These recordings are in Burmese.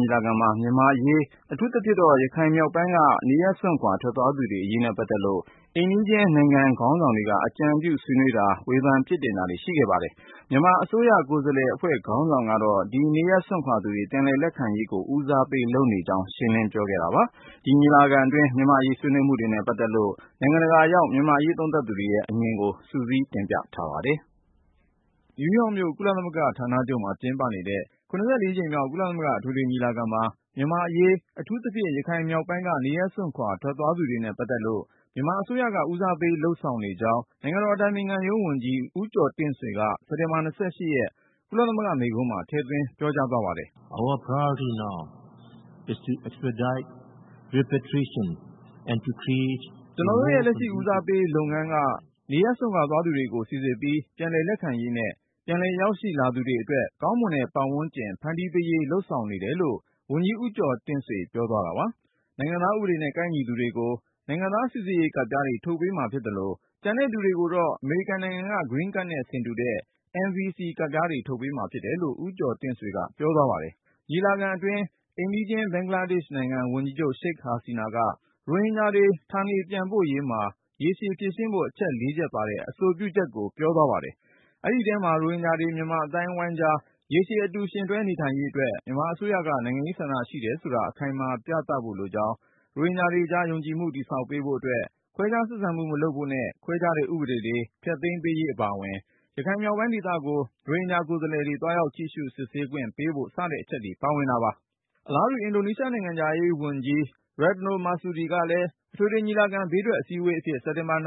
ညီလာခံမှာ မြန်မာ့အရေး အထူးသဖြင့် ရခိုင်မြောက်ပိုင်းက နေရပ်စွန့်ခွာ ထွက်သွားသူတွေအရေးနဲ့ ပတ်သက်လို့ အိမ်နီးချင်းနိုင်ငံ ခေါင်းဆောင်တွေက အကြံပြုဆွေးနွေးတာ၊ ဝေဖန် ပြစ်တင်တာတွေ ရှိခဲ့ပါတယ်။ မြန်မာအစိုးရ ကိုယ်စားလှယ်အဖွဲ့ ခေါင်းဆောင်ကတော့ ဒီနေရပ်စွန့်ခွာသူတွေ ပြန်လက်ခံရေးကို ဦးစားပေးလုပ်နေကြောင်း ရှင်းလင်းပြောခဲ့တာပါ။ ဒီညီလာခံအတွင်း မြန်မာ့အရေး ဆွေးနွေးမှုတွေနဲ့ ပတ်သက်လို့ နိုင်ငံတကာရောက် မြန်မာ့အရေး သုံးသပ်သူတွေရဲ့ အမြင်ကို ကိုဉာဏ်ဝင်းအောင်က စုစည်းတင်ပြထားပါတယ်။ စက်တင်ဘာ ၂၄ ကနေ ၃၀ ရက်နေ့ထိ နယူးယောက်မြို့ ကုလသမဂ္ဂ ဌာနချုပ်မှာ ကျင်းပနေတဲ့ ၇၄ ကြိမ်မြောက် ကုလသမဂ္ဂ အထွေထွေညီလာခံမှာ မြန်မာ့အရေး အထူးသဖြင့် ရခိုင်မြောက်ပိုင်းက နေရပ်စွန့်ခွာ ထွက်သွားသူတွေနဲ့ ပတ်သက်လို့ မြန်မာအစိုးရက ဦးစားပေး လုပ်ဆောင်နေကြောင်း နိုင်ငံတော်အတိုင်ပင်ခံရုံးဝန်ကြီး ဦးကျော်တင့်ဆွေက စက်တင်ဘာ ၂၈ ရက် ကုလသမဂ္ဂမိန့်ခွန်းမှာ ထည့်သွင်း ပြောကြားသွားပါတယ်။ “ကျနော်တို့ရဲ့ လက်ရှိ ဦးစားပေးလုပ်ငန်းက နေရပ်စွန့်ခွာသွားသူတွေကို စိစစ်ပြီး ပြန်လည်လက်ခံရေးနဲ့ ပြန်လည်ရောက်ရှိလာသူတွေအတွက် ကောင်းမွန်တဲ့ ပတ်ဝန်းကျင် ဖန်တီးပေးရေး လုပ်ဆောင်နေတယ်” လို့ ဝန်ကြီး ဦးကျော်တင့်ဆွေ ပြောသွားတာပါ။ နိုင်ငံသားဥပဒေနဲ့ ကိုက်ညီသူတွေကို နိုင်ငံသားစိစစ်ရေးကတ်ပြားတွေ ထုတ်ပေးမှာဖြစ်သလို ကျန်တဲ့သူတွေကိုတော့ အမေရိကန်နိုင်ငံက “Green Card” နဲ့ ဆင်တူတဲ့ NVC ကတ်ပြားတွေ ထုတ်ပေးမှာဖြစ်တယ်လို့ ဦးကျော်တင့်ဆွေက ပြောသွားပါတယ်။ ညီလာခံအတွင်း အိမ်နီးချင်း ဘင်္ဂလားဒေ့ရှ်နိုင်ငံ ဝန်ကြီးချုပ် Sheikh Hasina က ရိုဟင်ဂျာတွေ ဌာနေပြန်ပို့ရေးမှာ ရေရှည်ဖြေရှင်းဖို့ အချက် ၄ ချက်ပါတဲ့ အဆိုပြုချက်ကို ပြောသွားပါတယ်။ အဲဒီထဲမှာ ရိုဟင်ဂျာတွေ မြန်မာအသိုင်းအဝိုင်းကြား ရေရှည် အတူယှဉ်တွဲနေနိုင်ရေးအတွက် မြန်မာအစိုးရက နိုင်ငံရေးဆန္ဒရှိတယ်ဆိုတာ အခိုင်အမာ ပြသဖို့လိုကြောင်း၊ ရိုဟင်ဂျာတွေကြား ယုံကြည်မှု တည်ဆောက်ပေးဖို့အတွက် ခွဲခြားဆက်ဆံမှု မလုပ်ဖို့နဲ့ ခွဲခြားတဲ့ ဥပဒေတွေ ဖျက်သိမ်းပေးရေး အပါအဝင် ရခိုင်မြောက်ပိုင်းဒေသကို ရိုဟင်ဂျာ ကိုယ်စားလှယ်တွေ သွားရောက်ကြည့်ရှု စစ်ဆေးခွင့်ပေးဖို့ စတဲ့အချက်တွေ ပါဝင်တာပါ။ အလားတူ အင်ဒိုနီးရှား နိုင်ငံခြားရေးဝန်ကြီး Retno Marsudi ကလည်း အထွေထွေညီလာခံ ဘေးထွက်အစည်းဝေးအဖြစ် စက်တင်ဘာ ၂၇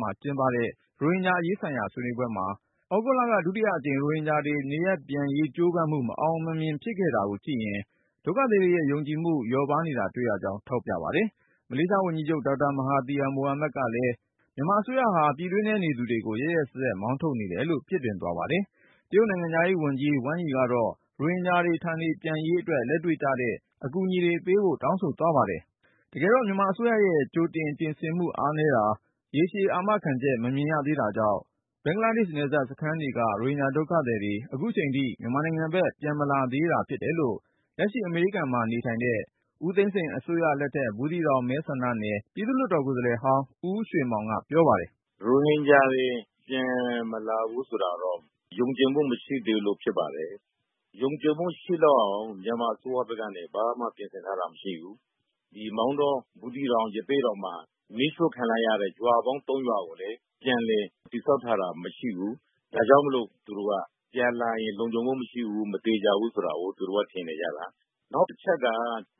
မှာကျင်းပတဲ့ ရိုဟင်ဂျာအရေးဆိုင်ရာ ဆွေးနွေးပွဲမှာ သြဂုတ်လက ဒုတိယအကြိမ် ရိုဟင်ဂျာတွေ နေရပ်ပြန်ရေး ကြိုးပမ်းမှု မအောင်မမြင် ဖြစ်ခဲ့ရတာကိုကြည့်ရင် ဒုက္ခသည်တွေရဲ့ ယုံကြည်မှု လျော့ပါးနေတာ တွေ့ရကြောင်း ထောက်ပြပါတယ်။ မလေးရှားဝန်ကြီးချုပ် ဒေါက်တာ မဟာသီယာမိုဟာမက်ကလည်း မြန်မာအစိုးရဟာ ပြည်တွင်းထဲ နေသူတွေကို ရက်ရက်စက်စက် မောင်းထုတ်နေတယ်လို့ ပြစ်တင်သွားပါတယ်။ တရုတ်နိုင်ငံခြားရေးဝန်ကြီး ဝမ်းယီကတော့ ရိုဟင်ဂျာတွေ ဌာနေပြန်ရေးအတွက် လက်တွေ့ကျတဲ့ အကူအညီတွေ ပေးဖို့ တောင်းဆိုသွားပါတယ်။ တကယ်တော့ မြန်မာအစိုးရရဲ့ ကြိုတင်ပြင်ဆင်မှု အားနည်းတာ၊ ရေရှည်အာမခံချက်တွေ မမြင်ရသေးတာကြောင့် ဘင်္ဂလားဒေ့ရှ် နယ်စပ်စခန်းတွေက ရိုဟင်ဂျာဒုက္ခသည်တွေ အခုအချိန်ထိ မြန်မာနိုင်ငံဘက် ပြန်မလာကြသေးတာ ဖြစ်တယ်လို့ လက်ရှိ အမေရိကန်မှာနေထိုင်တဲ့ ဦးသိန်းစိန်အစိုးရလက်ထက် ဘူးသီးတောင်မဲဆန္ဒနယ် ပြည်သူ့လွှတ်တော် ကိုယ်စားလှယ်ဟောင်း ဦးရွှေမောင်က ပြောပါတယ်။ “ရိုဟင်ဂျာတွေ ပြန်မလာဘူးဆိုတာတော့ ယုံကြည်မှု မရှိသေးလို့ ဖြစ်ပါတယ်။ ယုံကြည်မှု ရှိလောက်အောင် မြန်မာအစိုးရဘက်ကနေ ဘာမှပြင်ဆင်ထားတာ မရှိဘူး။ မောင်တော၊ ဘူးသီးတောင်၊ ရသေ့တောင်မှာ မီးရှို့ခံလိုက်ရတဲ့ ရွာပေါင်း ၃ ရွာကိုလည်း ပြန်လည် တည်ဆောက်ထားတာ မရှိဘူး။ ဒါကြောင့်မို့ သူတို့က ပြန်လာရင် လုံခြုံမှုမရှိဘူး၊ မသေချာဘူးဆိုတာကို ထင်နေကြတာ။ “နောက်တချက်က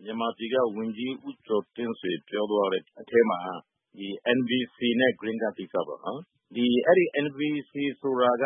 မြန်မာပြည်က ဝန်ကြီး ဦးကျော်တင့်ဆွေ ပြောသွားတဲ့အထဲမှာ NVC နဲ့ Green Card ကိစ္စပေါ့၊ အဲဒီ NVC ဆိုတာက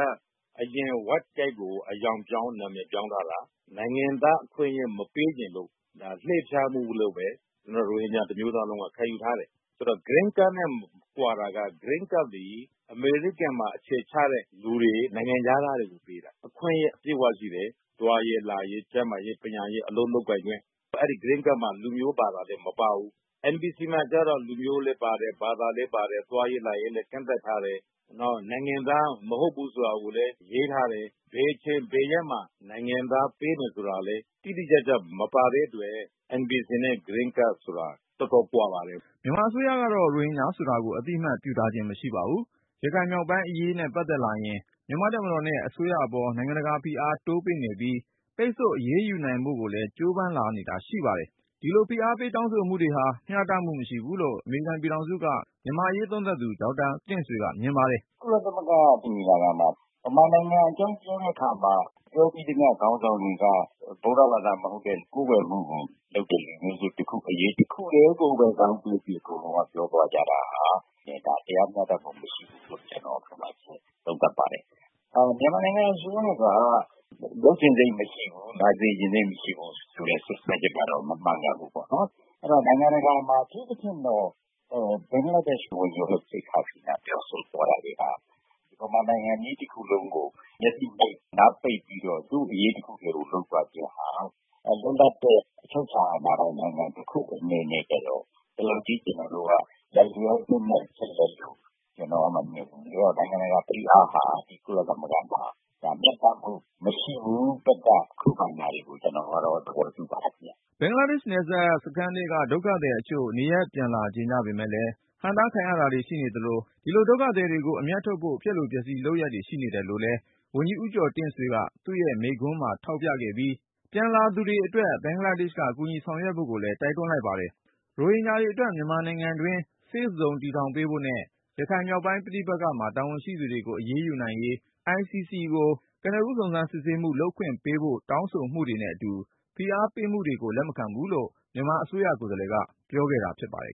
အရင် White Card ကို အရောင်ပြောင်း၊ နာမည်ပြောင်းထားတာ။ နိုင်ငံသားအခွင့်အရေး မပေးချင်လို့ ဒါ လှည့်ဖျားမှုလို့ပဲ ရိုဟင်ဂျာ တမျိုးသားလုံးက ခံယူထားတယ်။ Green Card နဲ့ ကွာတာက Green Card သည် အမေရိကန်မှာ အခြေချတဲ့လူတွေ၊ နိုင်ငံခြားသားတွေကို ပေးတာ။ အခွင့်အရေး အပြည့်အဝရှိတယ်။ သွားရေး၊ လာရေး၊ ကျန်းမာရေး၊ ပညာရေး၊ အလုပ်လုပ်ကိုင်ခွင့် အဲဒီ Green Card မှာ လူမျိုး ဘာသာတွေ မပါဘူး။ NVC မှာကျတော့ လူမျိုးလည်းပါတယ်၊ ဘာသာလည်းပါတယ်၊ သွားရေး လာရေးလည်း ကန့်သတ်ထားတယ်။ နောက် နိုင်ငံသားမဟုတ်ဘူး ဆိုတာကိုလည်း ရေးထားတယ်။ ဘယ်အချိန် ဘယ်ရက်မှာ နိုင်ငံသားပေးမယ် ဆိုတာလည်း တိတိကျကျ မပါတဲ့အတွက် NVC နဲ့ Green Card ဆိုတာ တော်တော်ကွာပါတယ်။” မြန်မာအစိုးရတော့ ရိုဟင်ဂျာဆိုတာကို အသိအမှတ်ပြုထားခြင်း မရှိပါဘူး။ ရခိုင်မြောက်ပိုင်းအရေးနဲ့ ပတ်သက်လာရင် မြန်မာ့တပ်မတော်နဲ့ အစိုးရအပေါ် နိုင်ငံတကာဖိအား တိုးပေးနေပြီး ပိတ်ဆို့အရေးယူနိုင်ဖို့ကိုလည်း ကြိုးပမ်းလာနေတာ ရှိပါတယ်။ ဒီလို ဖိအားပေးတောင်းဆိုမှုတွေဟာ မျှတမှုမရှိဘူးလို့ အမေရိကန်ပြည်ထောင်စုက မြန်မာ့အရေးသုံးသပ်သူ ဒေါက်တာတင့်ဆွေက မြင်ပါတယ်။ “ကုလသမဂ္ဂညီလာခံမှာ မြန်မာနိုင်ငံအကြောင်း ပြောသမျှ ခေါင်းဆောင်တွေက ဗုဒ္ဓဘာသာမဟုတ်တဲ့၊ ကိုးကွယ်မှုကိုလုပ်တဲ့ လူမျိုးစုတခုအရေး တခုတည်းကိုပဲ ဇောင်းပေးပြီး အကုန်လုံးက ပြောသွားကြတာဟာ တရားမျှတမှု မရှိဘူးလို့ ကျနော် သုံးသပ်ပါတယ်။ မြန်မာနိုင်ငံအစိုးရက လုပ်ချင်စိတ်မရှိဘူး၊ လာစေချင်စိတ် မရှိဘူးဆိုတဲ့ စွပ်စွဲချက်ကတော့ မမှန်ကန်ဘူးပေါ့။ နိုင်ငံတကာမှာ အထူးသဖြင့်တော့ ဘင်္ဂလားဒေ့ရှ် ဝန်ကြီးချုပ် Sheikh Hasina ပြောဆိုသွားတာတွေဟာ မြန်မာနိုင်ငံကြီး တခုလုံးကို မျက်စိမှိတ်၊ နားပိတ်ပြီးတော့ သူ့အရေးတခုတည်းကို လုပ်သွားခြင်းဟာ လွတ်လပ်တဲ့ အချုပ်အခြာအာဏာပိုင် နိုင်ငံတခုအနေနဲ့ကျတော့ ဒီလောက်ကြီး လိုက်လျောပေးလိုက်ဖို့ ကျနော် မမြင်ဘူး။ နိုင်ငံတကာဖိအားဟာ ကုလသမဂ္ဂမှာ မျှတမှုမရှိဘူး၊ သတ်မှတ် ခုခံတာတွေကို ကျနော်ကတော့ သဘောတူပါတယ်ခင်ဗျ။” ဘင်္ဂလားဒေ့ရှ် နယ်စပ်စခန်းထဲက ဒုက္ခသည်တချို့ နေရပ်ပြန်လာကြချင်ပေမယ့်လည်း ဟန့်တားခံရတာတွေ ရှိနေသလို ဒီလို ဒုက္ခသည်တွေကို အမြတ်ထုတ်ဖို့ ဖျက်လိုဖျက်ဆီးလုပ်ရပ်တွေ ရှိနေတယ်လို့လည်း ဝန်ကြီး ဦးကျော်တင့်ဆွေက သူ့ရဲ့ ကုလမိန့်ခွန်းမှာ ထောက်ပြပြီး ပြန်လာလိုသူတွေအတွက် ဘင်္ဂလားဒေ့ရှ်က ကူညီဆောင်ရွက်ဖို့ လိုကြောင်းလည်း တိုက်တွန်းလိုက်ပါတယ်။ ရိုဟင်ဂျာတွေအတွက် မြန်မာနိုင်ငံတွင်း Safe Zone တည်ထောင်ပေးဖို့နဲ့ ရခိုင်မြောက်ပိုင်း ပဋိပက္ခမှာ တာဝန်ရှိသူတွေကို အရေးယူနိုင်ရေး ICC ကို ကနဦး စုံစမ်းစစ်ဆေးမှု လုပ်ခွင့်ပေးဖို့ တောင်းဆိုမှုတွေနဲ့အတူ ဖိအားပေးမှုတွေကို လက်မခံဘူးလို့ မြန်မာအစိုးရ ကိုယ်စားလှယ်က ပြောခဲ့တာဖြစ်ပါတယ်